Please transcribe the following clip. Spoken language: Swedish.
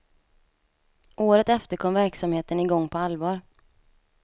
Året efter kom verksamheten igång på allvar.